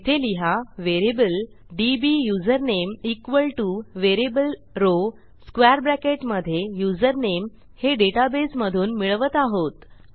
येथे लिहा variable DB username equal to variable row square bracket मधे युझरनेम हे डेटाबेसमधून मिळवत आहोत